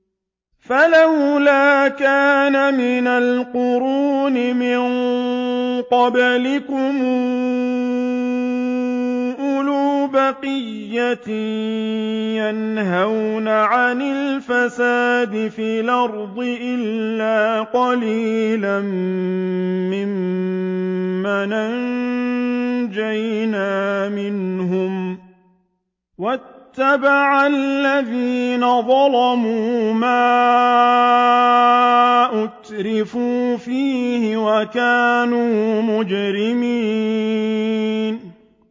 فَلَوْلَا كَانَ مِنَ الْقُرُونِ مِن قَبْلِكُمْ أُولُو بَقِيَّةٍ يَنْهَوْنَ عَنِ الْفَسَادِ فِي الْأَرْضِ إِلَّا قَلِيلًا مِّمَّنْ أَنجَيْنَا مِنْهُمْ ۗ وَاتَّبَعَ الَّذِينَ ظَلَمُوا مَا أُتْرِفُوا فِيهِ وَكَانُوا مُجْرِمِينَ